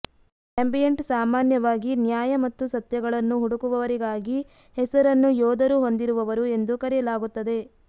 ambient ಸಾಮಾನ್ಯವಾಗಿ ನ್ಯಾಯ ಮತ್ತು ಸತ್ಯಗಳನ್ನು ಹುಡುಕುವವರಿಗಾಗಿ ಹೆಸರನ್ನು ಯೋಧರು ಹೊಂದಿರುವವರು ಎಂದು ಕರೆಯಲಾಗುತ್ತದೆ